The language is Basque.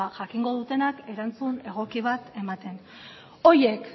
jakingo dutenak erantzun egoki bat ematen horiek